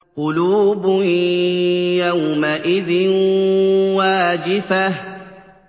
قُلُوبٌ يَوْمَئِذٍ وَاجِفَةٌ